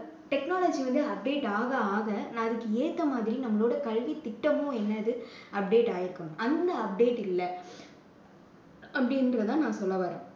technology வந்து update ஆக ஆக அதுக்கேத்த மாதிரி நம்மளோட கல்வி திட்டமும் என்னது update ஆகி இருக்கணும். அந்த update இல்லை அப்படின்னுட்டு தான் நான் சொல்லவர்றேன்